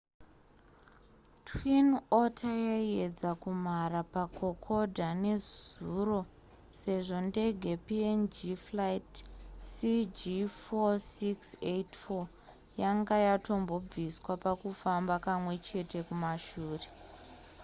twin otter yaiedza kumhara pakokoda nezuro sezvo ndege png flight cg4684 yanga yatombobviswa pakufamba kamwechete kumashure